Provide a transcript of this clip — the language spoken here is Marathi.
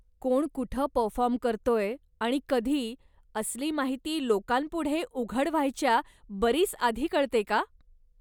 कोण कुठं परफॉर्म करतोय आणि कधी असली माहिती लोकांपुढे उघड व्हायच्या बरीच आधी कळते का?